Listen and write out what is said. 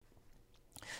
TV 2